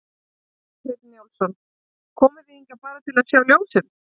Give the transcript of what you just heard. Kjartan Hreinn Njálsson: Komuð þið hingað bara til að sjá ljósin?